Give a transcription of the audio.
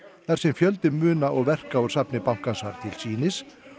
þar sem fjöldi muna og verka úr safni bankans var til sýnis